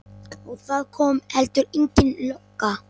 Og það kom heldur engin lögga.